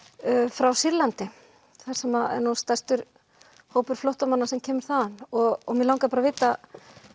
frá Sýrlandi þar sem er stærstur hópur flóttamanna sem kemur þaðan mig langaði að vita